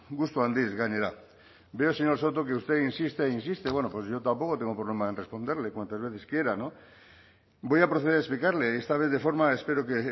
gustu handiz gainera veo señor soto que usted insiste e insiste bueno pues yo tampoco tengo problema en responderle cuantas veces quiera no voy a proceder a explicarle y esta vez de forma espero que